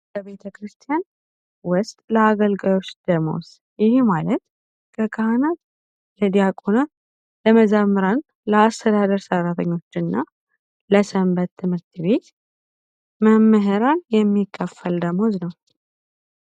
በቤተ ክርስቲያን ውስጥ ለአገልጋዮች ደመወዝ ይህ ማለት ለዲያቆናት ለካናት እንዲሁም ለመዘምራት ለአስተዳደር ሠራተኞችና ለሰንበት ትምህርት ቤት የሚከፈል ደመወዝ ነው የሚከፈል ደመወዝ ነው።